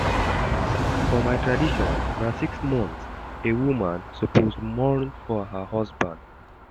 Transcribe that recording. For my tradition, na six months a woman suppose mourn her husband.